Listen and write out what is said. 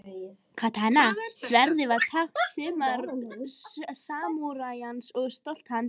Katana-sverðið var tákn samúræjans og stolt hans.